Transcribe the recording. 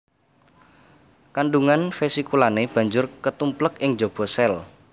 Kandungan vesikulane banjur ketumplek ing jaba sel